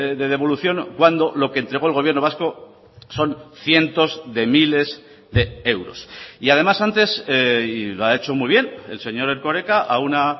de devolución cuando lo que entregó el gobierno vasco son cientos de miles de euros y además antes y lo ha hecho muy bien el señor erkoreka a una